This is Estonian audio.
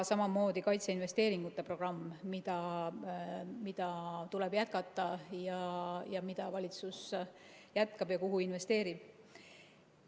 Samamoodi kaitseinvesteeringute programm, mida tuleb jätkata, mida valitsus jätkab ja kuhu investeerib.